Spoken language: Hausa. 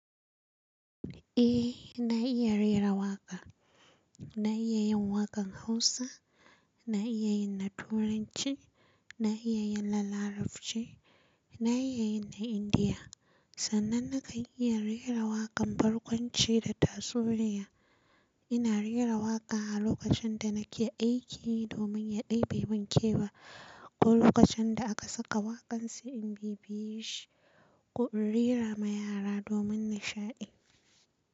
Eh na iya raira waƙa. Na iya yin waƙan Hausa, na iya yin na Turanci, na iya yin na Larabci, na iya yin na Indiya. Sannan na kan iya raira waƙan barkwanci da tatsuniya. Ina raira waƙa a lokacin da nake aiki domin ya ɗebe mun kewa ko lokacin da aka saka waƙan sai in bibiye shi ko in raira ma yara domin nishaɗi.